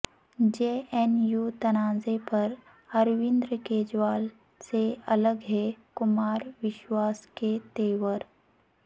جے N U تنازع پر اروند کیجریوال سے الگ ہیں کمار وشواس کے تیور